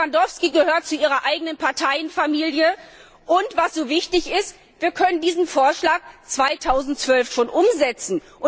Herr Lewandowski gehört zu Ihrer eigenen Parteienfamilie, und was so wichtig ist wir können diesen Vorschlag 2012 schon umsetzen.